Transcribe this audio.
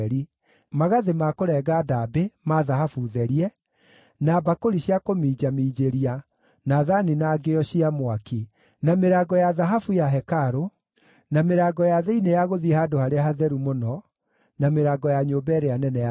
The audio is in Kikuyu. magathĩ ma kũrenga ndaambĩ, ma thahabu therie, na mbakũri cia kũminjaminjĩria, na thaani na ngĩo cia mwaki; na mĩrango ya thahabu ya hekarũ: na mĩrango ya thĩinĩ ya gũthiĩ Handũ-harĩa-Hatheru-Mũno, na mĩrango ya nyũmba ĩrĩa nene ya Hekarũ.